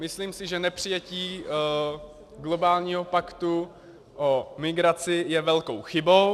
Myslím si, že nepřijetí globálního paktu o migraci je velkou chybou.